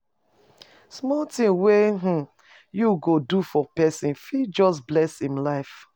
Small tin wey um you go do for pesin fit just bless im life.